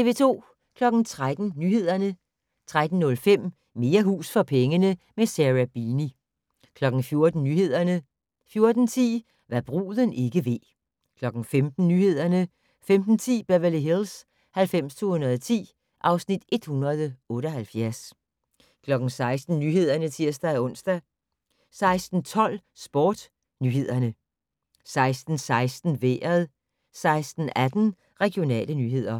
13:00: Nyhederne 13:05: Mere hus for pengene - med Sarah Beeny 14:00: Nyhederne 14:10: Hva' bruden ikke ved 15:00: Nyhederne 15:10: Beverly Hills 90210 (Afs. 178) 16:00: Nyhederne (tir-ons) 16:12: SportsNyhederne 16:16: Vejret 16:18: Regionale nyheder